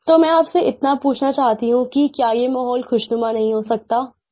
तो मैं आपसे इतना पूछना चाहती हूँ कि क्या ये माहौल ख़ुशनुमा नहीं हो सकता